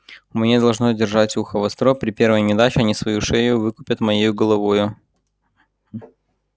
мне должно держать ухо востро при первой неудаче они свою шею выкупят моею головою